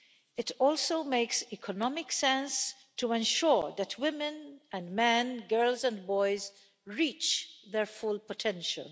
It also makes economic sense to ensure that women and men, girls and boys, reach their full potential.